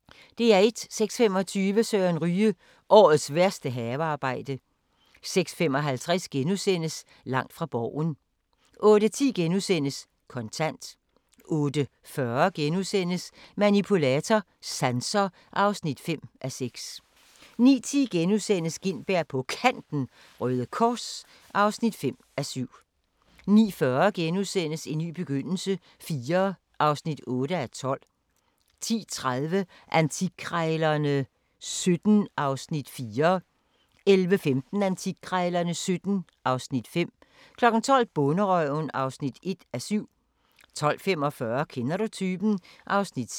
06:25: Søren Ryge: Årets værste havearbejde 06:55: Langt fra Borgen * 08:10: Kontant * 08:40: Manipulator – Sanser (5:6)* 09:10: Gintberg på Kanten – Røde Kors (5:7)* 09:40: En ny begyndelse IV (8:12)* 10:30: Antikkrejlerne XVII (Afs. 4) 11:15: Antikkrejlerne XVII (Afs. 5) 12:00: Bonderøven (1:7) 12:45: Kender du typen? (6:9)